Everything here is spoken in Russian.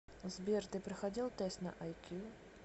сбер ты проходил тест на ай кью